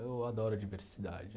Eu adoro diversidade.